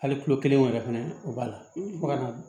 Hali kulo kelen wo yɛrɛ fɛnɛ o b'a la fo ka